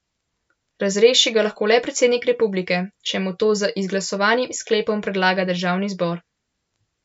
Razreši ga lahko le predsednik republike, če mu to z izglasovanim sklepom predlaga državni zbor.